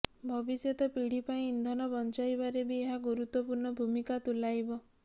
ଭବିଷ୍ୟତ ପିଢ଼ି ପାଇଁ ଇନ୍ଧନ ବଞ୍ଚାଇବାରେ ବି ଏହା ଗୁରୁତ୍ବପୂର୍ଣ୍ଣ ଭୂମିକା ତୁଲାଇବ